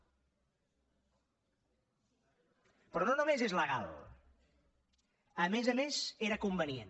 però no només és legal a més a més era convenient